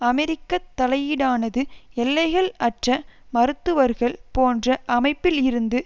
அமெரிக்க தலையீடானது எல்லைகள் அற்ற மருத்துவர்கள் போன்ற அமைப்பில் இருந்து